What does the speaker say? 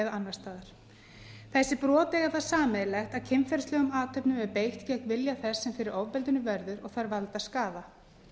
annars staðar þessi brot eiga það sameiginlegt að kynferðislegum athöfnum er beitt gegn vilja þess sem fyrir ofbeldinu verður og þær valda skaða